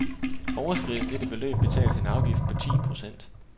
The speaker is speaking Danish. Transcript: Overskrides dette beløb betales en afgift på ti procent.